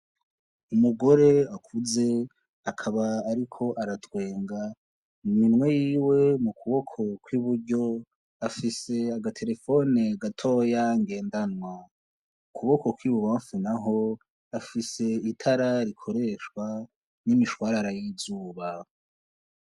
Umugore akuze akaba ariko aratwenga mu minwe yiwe mu kuboko kw'iburyo afise agaterefone gatoya ngendanwa ukuboko kw'ibubanfu naho afise itara rikoreshwa n'imishwarara y'izuba.